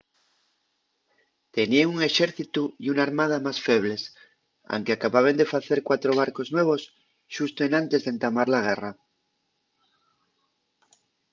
teníen un exércitu y una armada más febles anque acababen de facer cuatro barcos nuevos xusto enantes d'entamar la guerra